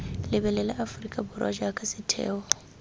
lebelela aforika borwa jaaka setheo